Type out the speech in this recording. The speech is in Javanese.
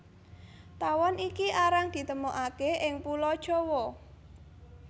Tawon iki arang ditemokaké ing Pulo Jawa